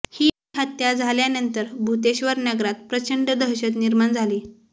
ही हत्या झाल्यानंतर भूतेश्वर नगरात प्रचंड दहशत निर्माण झाली